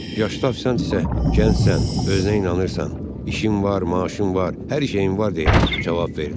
Yaşlı ofisiant isə gəncsən, özünə inanırsan, işin var, maaşın var, hər şeyin var deyə cavab verdi.